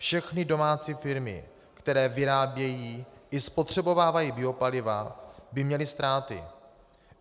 Všechny domácí firmy, které vyrábějí i spotřebovávají biopaliva, by měly ztráty.